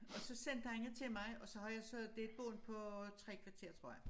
Og så sendte han det til mig og så har jeg så det er et bånd på 3 kvarter tror jeg